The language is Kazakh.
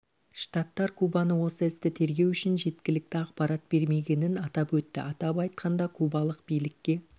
штаттар кубаны осы істі тергеу үшін жеткілікті ақпарат бермегенін атап өтті атап айтқанда кубалық билікке